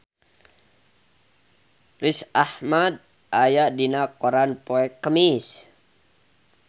Riz Ahmed aya dina koran poe Kemis